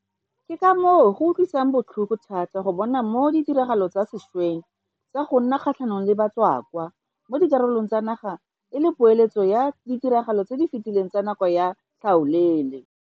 Ke ka moo go utlwisang botlhoko thata go bona ka moo ditiragalo tsa sešweng tsa go nna kgatlhanong le batswakwa mo dikarolong tsa naga e le poeletso ya ditiragalo tse di fetileng tsa nako ya tlhaolele.